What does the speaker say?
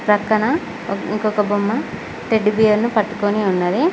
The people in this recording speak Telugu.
పక్కన ఇంకొక బొమ్మ టెడ్డి బేర్లను పట్టుకొని ఉన్నది